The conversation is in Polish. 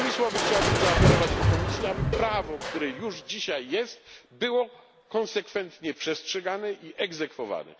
Innymi słowy chciałbym zaapelować do Komisji, aby prawo, które już dzisiaj jest, było konsekwentnie przestrzegane i egzekwowane.